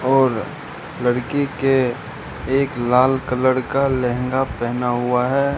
और लड़की के एक लाल कलर का लहंगा पहना हुआ है।